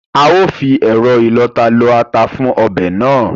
A ó fi ẹ̀rọ ìlọta lọ ata fún ọbẹ̀ náà